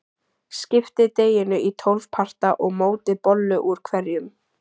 Skiptið deiginu í tólf parta og mótið bollu úr hverjum.